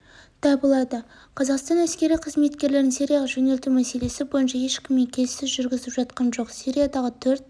табылады қазақстан әскери қызметкерлерін сирияға жөнелту мәселесі бойынша ешкіммен келіссөз жүргізіп жатқан жоқ сириядағы төрт